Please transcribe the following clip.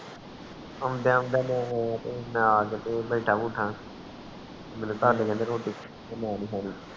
ਆਉਂਦਾ ਆਉਂਦਾ ਮੈਂ ਆਕੇ ਫਿਰ ਬੈਠਾ ਬੁਠਾ ਕਾਰ ਦੇ ਰੋਟੀ ਮੈਂ ਨੀ ਖਾਣੀ